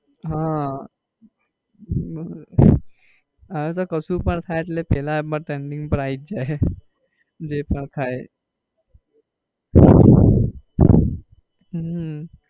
હા હવે તો કશુ પણ થાય એ એટલે પેલા એ trending પર આઈ જ જાય જે પણ થાય એ હમ